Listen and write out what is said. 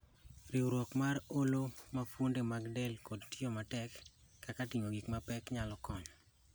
riwruok mar olo ma fuonde mag del koda tiyo matek, kaka ting'o gik ma pek, nyalo konyo